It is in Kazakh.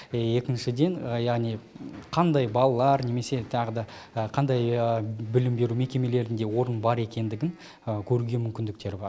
екіншіден яғни қандай балалар немесе тағы да қандай білім беру мекемелерінде орын бар екендігін көруге мүмкіндіктері бар